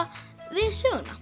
við söguna